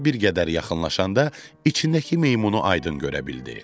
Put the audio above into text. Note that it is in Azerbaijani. Şar bir qədər yaxınlaşanda içindəki meymunu aydın görə bildi.